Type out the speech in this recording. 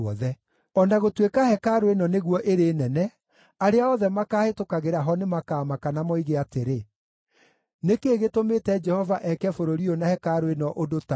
O na gũtuĩka hekarũ ĩno nĩguo ĩrĩ nene, arĩa othe makaahĩtũkagĩra ho nĩmakamaka na moige atĩrĩ, ‘Nĩ kĩĩ gĩtũmĩte Jehova eke bũrũri ũyũ na hekarũ ĩno ũndũ ta ũyũ?’